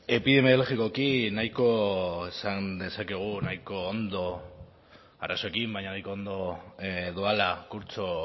epidemiologikoki nahiko esan dezakegu ondo arazoekin baina nahiko ondo doala kurtso